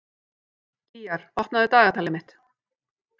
Gýgjar, opnaðu dagatalið mitt.